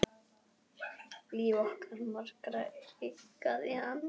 Nína tengir strax við þetta.